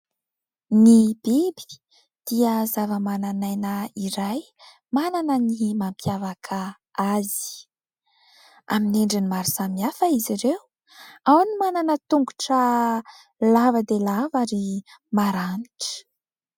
Ny biby dia zava-manan'aina iray manana ny mampiavaka azy. Amin'ny endriny maro samihafa izy ireo, ao ny manana tongotra lava dia lava ary maranitra.